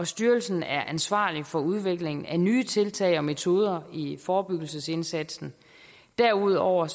styrelsen er ansvarlig for udviklingen af nye tiltag og metoder i forebyggelsesindsatsen derudover